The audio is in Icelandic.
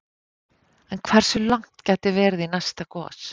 En hversu langt gæti verið í næsta gos?